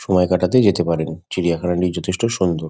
সময় কাটাতে যেতে পারেন। চিড়িয়াখানানি যথেষ্ট সুন্দর।